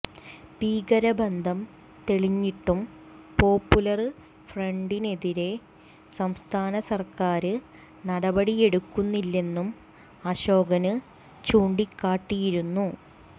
ഭീകരബന്ധം തെളിഞ്ഞിട്ടും പോപ്പുലര് ഫ്രണ്ടിനെതിരെ സംസ്ഥാന സര്ക്കാര് നടപടിയെടുക്കുന്നില്ലെന്നും അശോകന് ചൂണ്ടിക്കാട്ടിയിരുന്നു